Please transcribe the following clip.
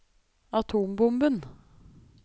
atombomben